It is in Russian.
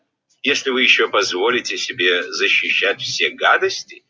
если вы ещё позволите себе защищать все города